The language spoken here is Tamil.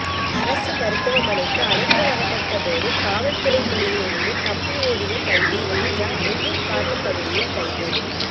அரசு மருத்துவமனைக்கு அழைத்து வரப்பட்ட போது காவல்துறை பிடியிலிருந்து தப்பி ஓடிய கைதி ராஜா முள்ளூர் காட்டுப் பகுதியில் கைது